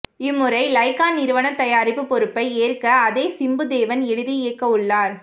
இம்முறை லைக்கா நிறுவனம் தயாரிப்பு பொறுப்பை ஏற்க அதே சிம்பு தேவன் எழுதி இயக்கவுள்ளார்